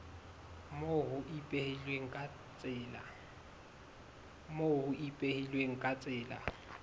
moo ho ipehilweng ka tsela